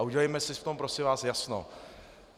A udělejme si v tom, prosím vás, jasno.